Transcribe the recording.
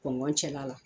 Kɔn cɛla la